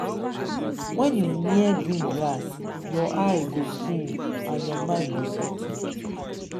when you near green grass your eye go cool and your mind go settle.